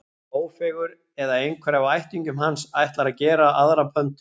Ófeigur, eða einhver af ættingjum hans, ætlar að gera aðra pöntun.